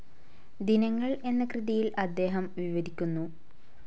ദിനങ്ങൾ എന്ന കൃതിയിൽ അദ്ദേഹം വിവരിക്കുന്നു.